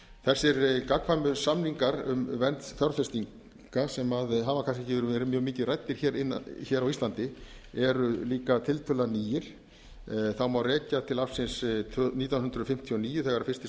þessir gagnkvæmu samninga um vernd fjárfestinga sem hafa kannski ekki verið mjög mikið ræddir hér á íslandi eru líka tiltölulega nýir það má rekja til ársins nítján hundruð fimmtíu og níu þegar fyrsti